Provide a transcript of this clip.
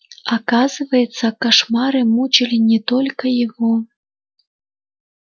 оказывается кошмары мучили не только его